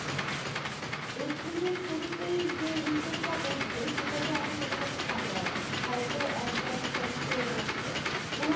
April এর শুরুতেই যে weekend টা পরছে সেটাতে আমি মোটামোটি ফাঁকা আছি, হয়তো এক বা দু'তারিখ করে পরছে ওরম